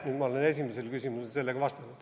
Nüüd ma olen esimesele küsimusele vastanud.